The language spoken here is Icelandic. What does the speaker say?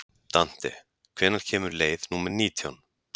Dante, hvenær kemur leið númer nítján?